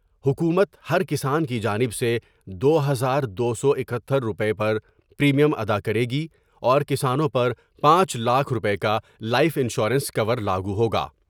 حکومت ہر کسان کی جانب سے دو ہزار دو سو اکہتر روپئے پریمیم ادا کرے گی اور کسانوں پر پانچ لاکھ روپے کا لائف انشورنس کو ور لا گو ہوگا ۔